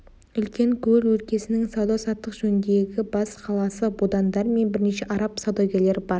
үлкен көл өлкесінің сауда саттық жөніндегі бас қаласы будандар мен бірнеше араб саудагерлері бар